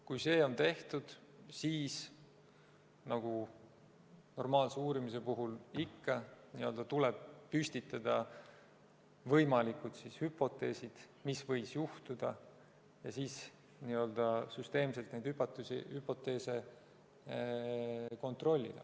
Kui see on tehtud, siis – nagu normaalse uurimise puhul ikka – tuleb püstitada võimalikud hüpoteesid, mis võis juhtuda, ja siis süsteemselt neid hüpoteese kontrollida.